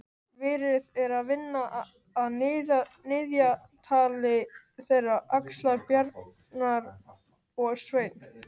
Verið er að vinna að niðjatali þeirra Axlar-Bjarnar og Sveins.